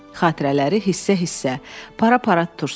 Xatirələri hissə-hissə, para-para tutursan.